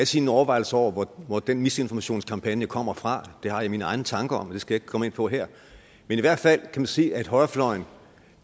sine overvejelser over hvor den misinformationskampagne kommer fra det har jeg mine egne tanker om det skal jeg ikke komme ind på her men i hvert fald kan man se at højrefløjen